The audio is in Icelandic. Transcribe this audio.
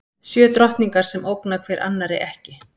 Sjö drottningar sem ógna hver annarri ekki.